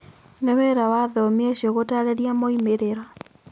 Nĩ wĩra wa athomi acio gũtaarĩria moimĩrĩro.